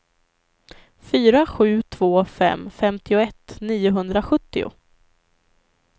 fyra sju två fem femtioett niohundrasjuttio